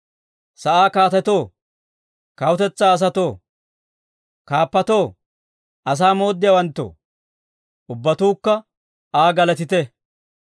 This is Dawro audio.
Sa'aa kaatetoo, kawutetsaa asatoo, kaappatoo, asaa mooddiyaawanttoo, Ubbatuukka Aa galatite.